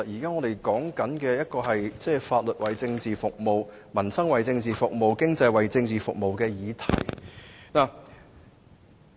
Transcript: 我們其實在討論法律、民生和經濟都要為政治服務的議題。